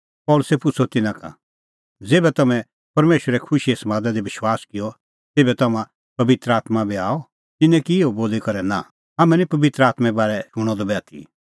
पल़सी पुछ़अ तिन्नां का ज़ेभै तम्हैं परमेशरे खुशीए समादा दी विश्वास किअ तेभै तम्हां पबित्र आत्मां आअ तिन्नैं की इहअ बोली करै नांह हाम्हैं निं पबित्र आत्में बारै शूणअ द बी आथी